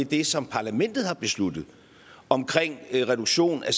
det som parlamentet har besluttet om reduktion af